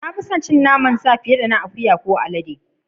Na fi sin cin naman sa fiyar da na akuya ko alade.